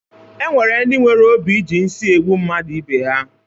E nwere ndi nwere obi i ji nsị egbu mmadụ ibe ha.